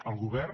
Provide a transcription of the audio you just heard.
el govern